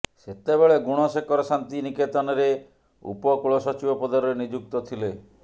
ସେତେବେଳେ ଗୁଣଶେଖର ଶାନ୍ତି ନିକେତନରେ ଉପକୁଳସଚିବ ପଦରେ ନିଯୁକ୍ତ ଥିଲେ